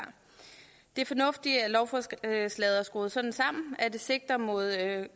det er fornuftigt at lovforslaget er skruet sådan sammen at det sigter mod